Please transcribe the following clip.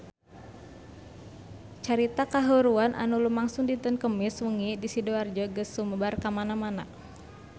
Carita kahuruan anu lumangsung dinten Kemis wengi di Sidoarjo geus sumebar kamana-mana